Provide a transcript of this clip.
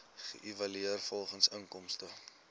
geëvalueer volgens inkomste